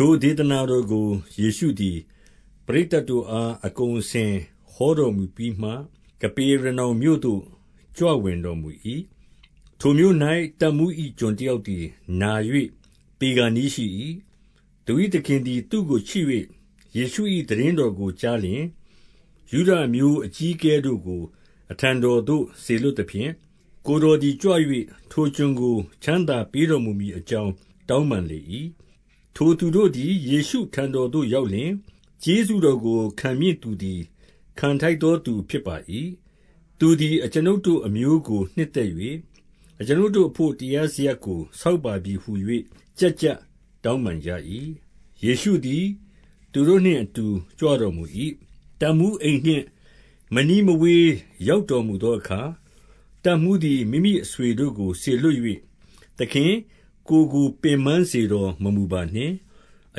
ထိုဒေသနာတော်ကို ယေရှုသည် ပရိတ်သတ်တို့အား အကုန်အစင်ဟောတော်မူပြီးမှ ကပေရနောင်မြို့ သို့ ကြွဝင်တော်မူ၏။ ထိုမြို့၌ တပ်မှူး၏ကျွန်တယောက်သည်နာ၍ သေခါနီးရှိ၏။ သူ၏သခင်သည် သူ့ကိုချစ်၍၊ ယေရှု၏ သိတင်းတော်ကိုကြားလျှင်၊ ယုဒအမျိုး အကြီးအကဲတို့အလိုငှါ နောင်တနှင့်စပ်ဆိုင်သော ဗတ္တိဇံ တရားကိုဟောလေ၏။ ထိုသူတို့သည် ယေရှုထံတော်သို့ရောက်လျှင်၊ ကျေးဇူးတော်ကို ခံမည့်သူသည် ခံထိုက်သောသူဖြစ်ပါ၏။ သူသည် အကျွန်ုပ်တို့အမျိုးကို နှစ်သက်၍ အကျွန်ုပ်တို့အဘို့ တရားစရပ်ကို ဆောက်ပါပြီဟု၍ ကျပ် ကျပ်တောင်းပန်ကြ၏။ ယေရှုသည် သူတို့နှင့်အတူကြွတော်မူ၏။ တပ်မှူးအိမ်နှင့်မနီးမဝေးရောက်တော်မူသောအခါ၊ တပ်မှူး သည် မိမိအဆွေတို့ကို စေလွှတ်၍၊ သခင်၊ ကိုယ်ကို ပင်ပန်းစေတော်မမူပါနှင့်။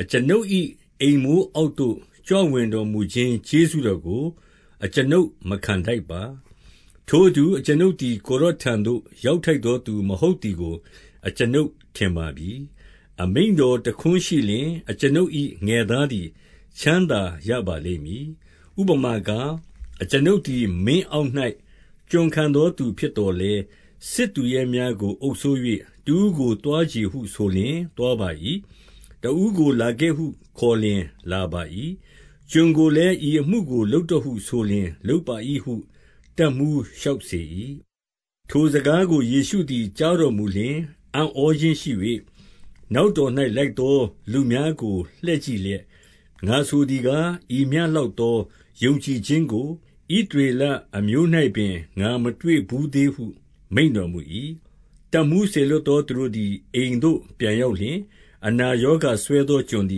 အကျွန်ုပ်၏ အိမ်မိုးအောက်သို့ ကြွဝင်တော်မူခြင်း ကျေးဇူးတော်ကို အကျွန်ုပ်မခံထိုက်ပါ။ ထိုအတူ အကျွန်ုပ်သည် ကိုယ်တော်ထံသို့ ရောက်ထိုက်သောသူမဟုတ်သည်ကို အကျွန်ုပ်ထင်ပါပြီ။ အမိန့်တော်တခွန်းရှိလျှင် အကျွန်ုပ်၏ငယ်သားသည် ချမ်းသာရပါလိမ့်မည်။ ဥပမာကား၊ အကျွန်ုပ်သည် မင်းအောက်၌ ကျွန်ခံသောသူဖြစ်သော်လည်း စစ်သူရဲများကိုအုပ်စိုး၍ တဦးကိုသွားချေဟု ဆိုလျှင်သွားပါ၏။ တဦးကိုလာခံဟုခေါ်လျှင် လာပါ၏။ ကျွန်ကိုလည်း ဤအမှုကို လုပ် တော့ ဟုဆိုလျှင် လုပ်ပါ၏ဟု တပ်မှူးလျှောက်စေ၏။ ထိုစကားကို ယေရှုသည်ကြားတော်မူလျှင် အံ့ဩခြင်းရှိ၍ နောက်တော်သို့လိုက်သောသူများကို လှည့် ကြည့်လျက်၊ ငါဆိုသည်ကား၊ ဤမျှလောက်သော ယုံကြည်ခြင်းကို ဣသရေလအမျိုး၌ပင် ငါမတွေ့ဘူးသေးဟု မိန့်တော်မူ၏။ တပ်မှူးစေလွှတ်သော သူတို့သည် အိမ်သို့ ပြန်ရောက်လျှင်၊ အနာရာဂါစွဲသော ကျွန်သ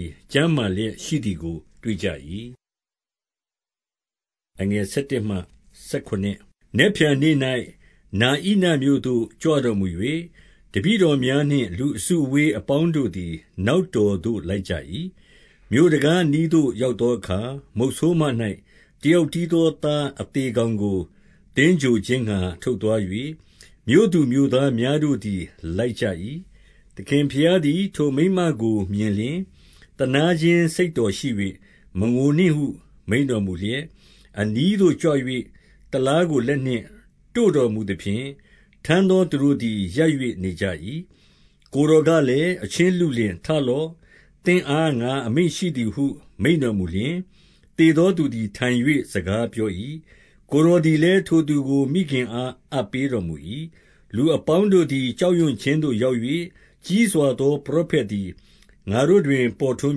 ည် ကျန်းမာ လျက်ရှိသည်ကို တွေ့ကြ၏။ နက်ဖြန်နေ့၌ နာဣနမြို့သို့ ကြွတော်မူ၍၊ တပည့်တော်တို့များနှင့် လူအစုအဝေးအပေါင်းတို့သည် နောက်တော်သို့လိုက်ကြ၏။ မြို့တံခါးအနီးသို့ရောက်သောအခါ၊ မုတ်ဆိုးမ၌ တယောက်တည်းသောသားအသေလောင်းကို သင်္ဂြိုဟ် ခြင်းငှါ ထုတ်သွား၍၊ မြို့သူမြို့သားများတို့သည် လိုက်ကြ၏။ သခင်ဘုရားသည် ထိုမိန်းမကိုမြင်လျှင် သနားခြင်းစိတ်တော်ရှိ၍၊ မငိုနှင့်ဟု မိန့်တော်မူလျှက် အနီးသို့ ကြွ၍ တလားကို လက်နှင့်တို့တော်မူသဖြင့်၊ ထမ်းသောသူတို့သည် ရပ်၍နေကြ၏၊ ကိုယ်တော်ကလည်း၊ အချင်းလုလင်၊ ထလော့၊ သင့်အားငါအမိန့်ရှိသည်ဟု မိန့်တော်မူလျှင်၊ သေသောသူသည် ထိုင်၍စကားပြော၏၊ ကိုယ်တော်သည်လည်း ထိုသူကိုမိခင်အား အပ်ပေးတော်မူ ၏။ လူအပေါင်းတို့သည် ကြောင့်ရွံ့ခြင်း သို့ရောက်၍၊ ကြီးစွာသောပရောဖက်သည် ငါတို့တွင်ပေါ်ထွန်း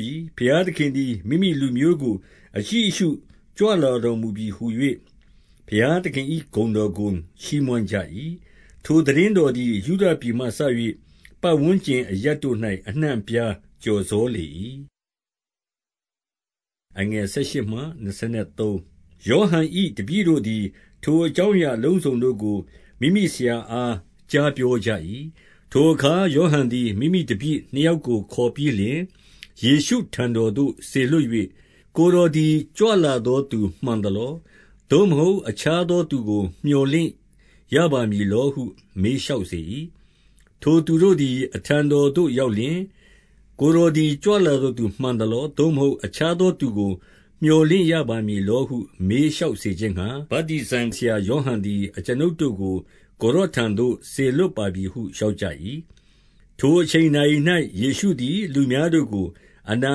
ပြီ။ ဘုရားသခင်သည် မိမိလူမျိုးကို အကြည့်အရှု ကြွတော်မူပြီ ဟူ၍ ဘုရားသခင်၏ဂုဏ်တော်ကို ချီးမွမ်းကြ၏။ ထိုသိတင်းတော်သည် ယုဒပြည်မှစ၍ ပတ်ဝန်းကျင်အရပ်တို့၌ အနှံ့အပြားကျော်စောလေ၏။ ယောဟန်၏ တပည့်တို့သည် ထိုအကြောင်းအရာအလုံးစုံတို့ကို မိမိဆရာအားကြားပြောကြ၏။ ထိုအခါ ယောဟန်သည် မိမိတပည့်နှစ်ယောက်ကို ခေါ်ပြီးလျှင် ယေရှုထံတော်သို့စေလွှတ်၍၊ ကိုယ် တော်သည် ကြွလာသောသူမှန်သလော။ သို့မဟုတ် အခြားသောသူကို မြော်လင့်ရပါမည်လောဟု မေးလျှောက် စေ၏။ ထိုသူတို့သည် အထံတော်သို့ရောက်လျှင်၊ ကိုယ်တော်သည်ကြွလသောသူမှန်သလော။ သို့မဟုတ် အခြားသောသူကို မြော်လင့်ရပါမည်ဟု မေးလျှောက်စေခြင်းငှါ၊ ဗတ္တိဇံဆရာယောဟန်သည် အကျွန်ုပ်တို့ကို ကိုယ်တော်ထံသို့စေလွှတ်ပါပြီဟု လျှောက်ကြ၏။ ထိုအချိန်နာရီ၌ ယေရှုသည် လူများတို့ကို အနာ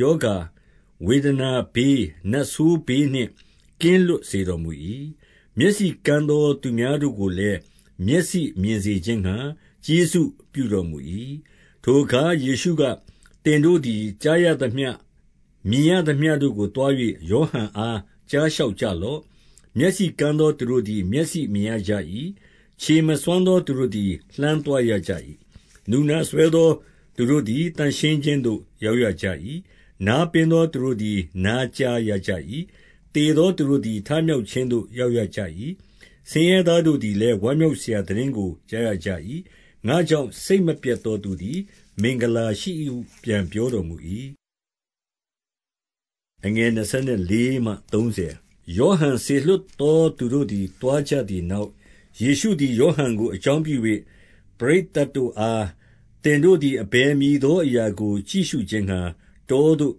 ရောဂါဝေဒနာဘေး၊ နတ်ဆိုးဘေးနှင့် ကင်းလွတ်စေ တော်မူ၏။ မျက်စိကန်းသောသူများတို့ကိုလည်း မျက်စိမြင်စေခြင်းငှါ ကျေးဇူးပြုတော်မူ၏။ ထိုအခါယေရှုက၊ သင်တို့သည်ကြားရသမျှ၊ မြင်ရသမျှတို့ကိုသွား၍ ယောဟန်အား ကြားလျှောက်ကြ လော့။ မျက်စီကန်းသောသူတို့သည် လှမ်းသွားရကြ၏။ နူနာစွဲသောသူတို့သည် လှမ်းသွားရကြ၏။ နူနာစွဲသော သူတို့သည် သန့်ရှင်းခြင်းသို့ရောက်ရကြ၏။ နားပင်သောသူတို့သည် နားကြားရကြ၏။ သေသောသူတို့သည် ထမြောက်ခြင်းသို့ ရောက်ရကြ၏။ ဆင်းရဲသားတို့သည်လည်း ဝမ်းမြောက်စရာ သိတင်းကိုကြားရကြ၏။ ငါ့ကြောင့်စိတ်မပျက်သောသူ သည် မင်္ဂလာရှိ၏ဟု ပြန်ပြောတော်မူ၏။ ယောဟန်စေလွှတ်သောသူတို့သည် သွားကြသည်နောက်၊ ယေရှုသည် ဟောဟန်ကို အကြောင်းပြု၍ ပရိတ်သတ်တို့အား၊ သင်တို့သည် အဘယ်မည်သောအရာကို ကြည့်ရှုခြင်းငှါ တောသို့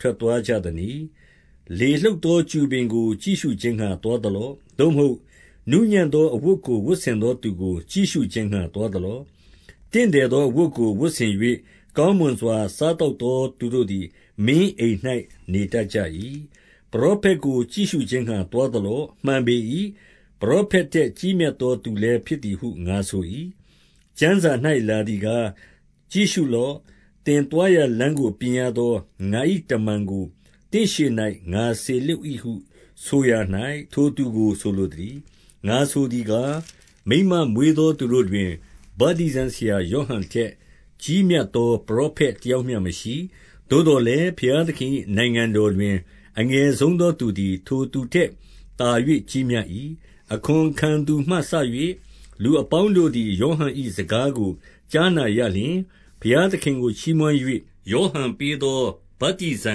ထွက်သွားကြသနည်း။ လေလှုပ်သောကျူပင်ကို ကြည့်ရှုခြင်းငှါ သွားသလော့။ သို့မဟုတ်နူးညံ့သောအဝတ်ကို ဝတ်ဆင်သောသူကို ကြည့်ရှုခြင်းငှါ သွားသလော။ တင့်တယ်သော အဝတ်ကိုဝတ်ဆင်၍ ကောင်းမွန်စွာ စားသောက်သောသူတို့သည် မင်းအိမ်၌ နေတတ်ကြ၏။ ပရောဖက်ကို ကြည့်ရှုခြင်းငှါ သွားသလော့။ မှန်ပေ၏။ ပရောဖက်ထက်ကြီးမြတ်သောသူလည်း ဖြစ်သည်ဟု ငါဆို၏။ ကျမ်းစာ၌လာသည်ကား၊ ကြည့်ရှုလော့။ သင်သွားရာလမ်းကိုပြရသော ငါ၏တမန်ကိုသင့်ရှေ့၌ ငါစေ လွှတ်၏ဟုဆုရာ၌ ထိုသူကိုဆိုလိုသနည်း။ ငါဆိုသည်ကား၊ မိန်းမမွေးသောသူတို့တွင် ဗတ္တိဇံဆရာယောဟန်ထက် ကြီးမြတ်သော ပရောဖက် တ ယောက်မျှမရှိ။ သို့သော်လည်း ဘုရားသခင်၏နိုင်ငံတော်တွင် အငယ်ဆုံးသောသူသည် ထိုသူထက်သာ၍ ကြီး မြတ်၏။ အခွန်ခံသူမှစ၍ လူအပေါင်းတို့သည် ယောဟန်၏စကားကို ကြားနာရလျှင်၊ ဘုရားသခင်ကို ချီးမွမ်း၍ ယောဟန်ပေးသော ဗတ္တိဇံ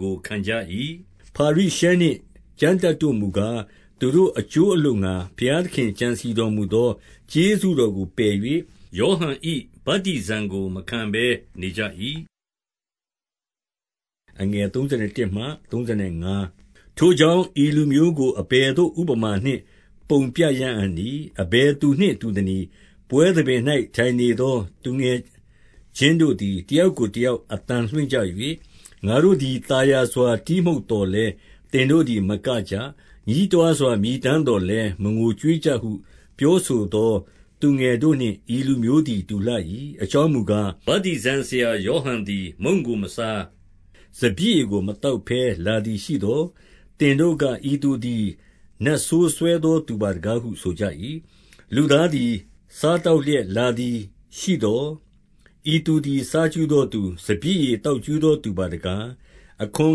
ကို ခံကြ၏။ ဖာရိရှဲနှင့် ကျမ်းတတ်တို့မူကား၊ သူတို့အကျိုး အလိုငှါ ဘုရားသခင်ကြံစည်တော်မူသော ကျေးဇူးတော် ကို ပယ်၍ ယောဟန်၏ ဗတ္တိဇံကို မခံဘဲနေကြ၏။ ထိုကြောင့် ဤလူမျိုးကို အဘယ်ဥပမာနှင့် ပုံပြရအံ့နည်း။ အဘယ်သူနှင့်တူသနည်း။ ပွဲသဘင်၌ ထိုင်နေသောသူငယ်ချင်းတို့သည် တယောက်ကိုတယောက် အသံလွှင့်ကြ၍၊ ငါတို့သည် သာယာစွာတီးမှုတ်သော်လည်း သင်တို့သည်မကကြ။ ညည်းတွားစွာမြည်တမ်းသော်လည်း မငိုကြွေးကြဟု ပြော ဆိုသောသူငယ်တို့နှင့် ဤလူမျိုးသည် တူလှ၏။ အကြောင်းမူကား၊ ဗတ္တိဇံဆရာယောဟန်သည် မုန့်ကိုမစား၊ စပျစ်ရည်ကိုမသောက်ဘဲ လာသည်ရှိ သော် သင်တို့က၊ ဤသူသည် နတ်ဆိုးစွဲသော သူပါတကားဟု ဆိုကြ၏။ လူသားသည် စားသောက်လျက်လာသည်ရှိသော်၊ ဤသူသည် စားကြူးသောသူ၊ စပျစ်ရည်သောက် ကြူးသောသူပါတကား။ အခွန်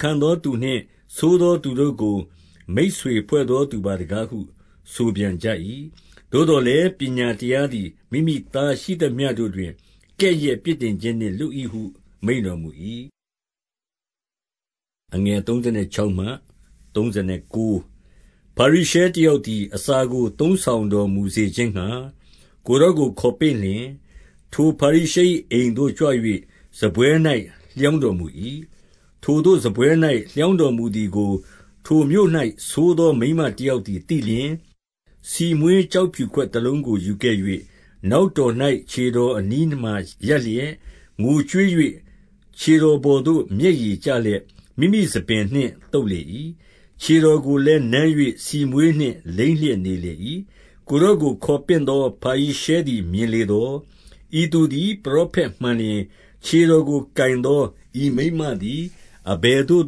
ခံသောသူနှင့် ဆိုးသောသူတို့ကို မိတ်ဆွေဖွဲ့သောသူပါတကားဟု ဆိုပြန်ကြ၏။ သို့သော်လည်း ပညာတရားသည် မိမိသားရှိသမျှတို့တွင် ကဲ့ရဲ့ပြစ်တင်ခြင်းနှင့်လွတ်၏ဟု မိန့်တော် မူ၏။ ဖာရိရှဲတယောက်သည် အစာကို သုံးဆောင်တော်မူစေခြင်းငှါ ကိုယ်တော်ကို ခေါ်ပင့်လျှင်၊ ထိုဖာရိရှဲ၏ အိမ်သို့ကြွ၍ စားပွဲ၌လျောင်းတော်မူ၏။ ထိုသို့စားပွဲ၌လျောင်းတော်မူသည်ကိုထိုမြို့၌ဆိုးသောမိန်းမတယောက်သည် သိလျှင်၊ ဆီမွှေး ကျောက်ဖြူ ခွင်တလုံးကို ယူခဲ့၍၊ နောက်တော်၌ ခြေတော်အနီးမှာရပ်လျက် ငိုကြွေး၍ ခြေတော်ပေါ်သို့ မျက်ရည်ကြလျှင် မိမိဆံပင် နှင့်သုတ်လေ၏။ ခြေတော်ကိုလည်း နမ်း၍ ဆီမွှေးနှင့် လိမ်းလျက်နေလေ၏။ ကိုယ်တော်ကို ခေါ်ပင့်သော ဖာရိရှဲသည်မြင်လေသော်၊ ဤသူသည်ပရောဖက်မှန်လျင် ခြေတော်ကို ကိုင်သော ဤမိန်းမသည် အဘယ်သို့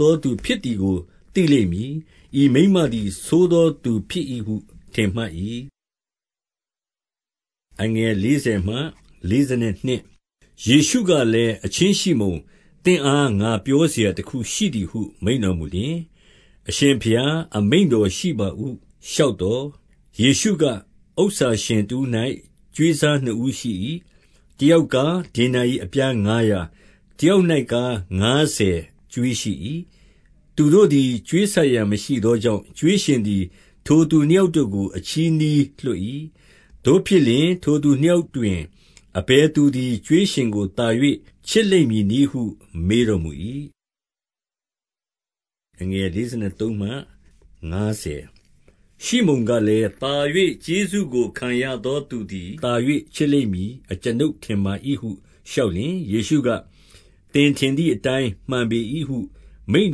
သောသူဖြစ်သည်ကို သိလိမ့်မည်။ ဤမိန်းမသည် ဆိုးသောသူဖြစ်၏ဟု ထင်မှတ်၏။ ယေရှုကလည်း၊ အချင်းရှိမုန်၊ သင့်အား ငါပြောစရာတခုရှိသည်ဟု မိန့်တော်မူလျှင်၊ အရှင်ဘုရား အမိန့်ရှိတော်မူပါဟု လျှောက်သော်၊ ယေရှုက၊ ဥစ္စာရှင်တဦး၌ ကြွေးစားနှစ်ဦးရှိ၏။ တယောက်၌ကား ဒေနာရိအပြားငါးရာ၊ တယောက်၌ ကား ငါးဆယ်ကြွေးရှိ၏။ သူတို့သည် ကြွေးဆပ်ရန်မရှိသောကြောင့်၊ ကြွေးရှင်သည် ထိုသူနှစ်ယောက်တို့ကို အချည်းနှီးလွှတ်၏။ သို့ဖြစ်လျှင် ထိုသူနှစ်ယောက်တွင် အဘယ်သူသည် ကြွေးရှင်ကိုသာ၍ ချစ်လိမ့်မည်နည်းဟု မေးတော်မူ၏။ ရှိမုန်ကလည်း၊ သာ၍ကျေးဇူးကိုခံရသောသူသည် သာ၍ချစ်လိမ့်မည် အကျွန်ုပ်ထင်ပါ၏ဟု လျှောက် လျှင်၊ ယေရှုက၊ သင်ထင်သည်အတိုင်း မှန်ပေ၏ဟု မိန့်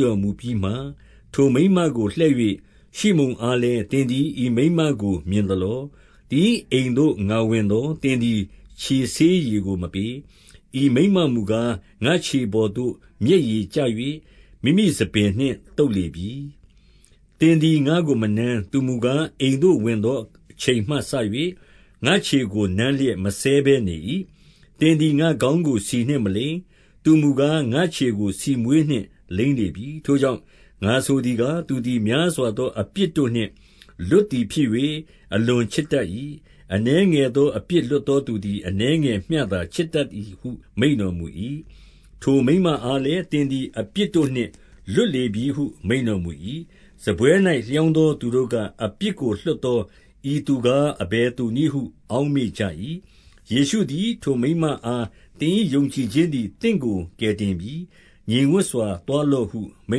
တော်မူပြီးမှ၊ ထိုမိန်းမကိုလှည့်၍ ရှိမုန်အားလည်း၊ သင်သည် ဤမိန်းမကိုမြင်သလော။ သင်၏အိမ်သို့ ငါဝင်သော် သင်သည် ခြေဆေးရေကိုမပေး။ ဤမိန်းမမူကား၊ ငါ့ခြေ ပေါ်သို့ မျက်ရည်ကျ၍ မိမိဆံပင်နှင့်သုတ်လေပြီ။ သင်သည် ငါ့ကိုမနမ်း၊ သူမူကား၊ အိမ်သို့ဝင်သောအချိန်မှစ၍ ငါ့ခြေကို နမ်းလျက်မစဲဘဲနေ၏။ သင်သည်ငါ့ခေါင်းကို ဆီနှင့်မလိမ်း။ သူမူကား၊ ငါ့ခြေကို ဆီမွှေးနှင့်လိမ်းလေပြီ။ ထိုကြောင့် ငါဆိုသည်ကား၊ သူသည် များစွာသောအပြစ်တို့နှင့်လွတ်သည်ဖြစ်၍ အလွန်ချစ်တတ်၏။ အနည်းငယ်သောအပြစ်လွတ်သောသူသည် အနည်းငယ်မျှသာ ချစ်တတ်သည်ဟု မိန့်တော်မူ၏။ ထိုမိန်းမအားလည်း၊ သင်သည် အပြစ်တို့နှင့် လွတ်လေပြီဟု မိန့်တော်မူ၏။ စားပွဲ၌လျောင်းသောသူတို့က၊ အပြစ်ကိုလွှတ်သော ဤသူကား အဘယ်သူနည်းဟု အောက်မေ့ကြ၏။ ယေရှုသည် ထိုမိန်းမအားသင်၏ ယုံကြည်ခြင်းသည် သင့်ကို ကယ်တင်ပြီ။ ငြိမ်ဝပ်စွာသွားလောဟု မိ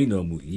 န့်တော်မူ၏။